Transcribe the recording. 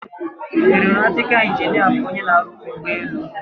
Eronatịkal ịnginịa bụ onye na-aruzi ụgbọelu.